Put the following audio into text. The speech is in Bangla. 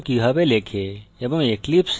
java program কিভাবে লেখে এবং